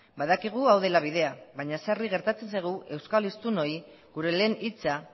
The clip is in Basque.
badakigu hau dela bidea baina sarri gertatzen zaigu euskal hiztunoi gure lehen hitza